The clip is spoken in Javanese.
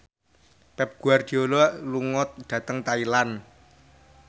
Pep Guardiola lunga dhateng Thailand